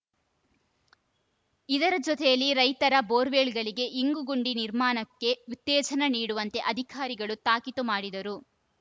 ಇದರ ಜೊತೆಯಲ್ಲಿ ರೈತರ ಬೋರ್‌ವೆಲ್‌ಗಳಿಗೆ ಇಂಗುಗುಂಡಿ ನಿರ್ಮಾಣಕ್ಕೆ ಉತ್ತೇಜನ ನೀಡುವಂತೆ ಅಧಿಕಾರಿಗಳು ತಾಕೀತು ಮಾಡಿದರು